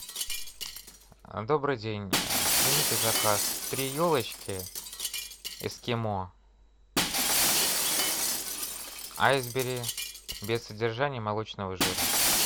добрый день примите заказ три елочки эскимо айсбери без содержания молочного жира